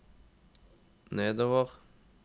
nedover